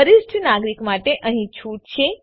વરિષ્ઠ નાગરિક માટે અહીં છૂટ છે